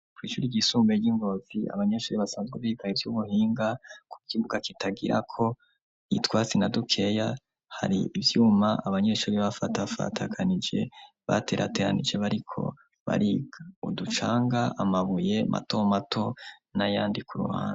Kw'ishuri iyisunbe ry'ingovi abanyeshuri basanzwe bigaye iby'ubuhinga ku kibuga kitagira ko itwasina dukeya hari ibyuma abanyeshuri bafata fatakanije baterateranije bariko bariga uducanga amabuye mato mato n'ayandi ku ruhanda.